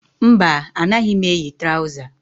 Mba, anaghị m eyi traụza